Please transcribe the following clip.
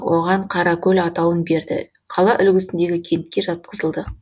оған қаракөл атауын берді қала үлгісіндегі кентке жатқызылды